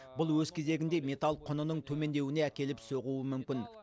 бұл өз кезегінде металл құнының төмендеуіне әкеліп соғуы мүмкін